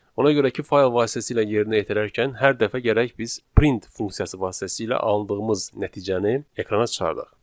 Ona görə ki, fayl vasitəsilə yerinə yetirərkən hər dəfə gərək biz print funksiyası vasitəsilə alındığımız nəticəni ekrana çıxardaq.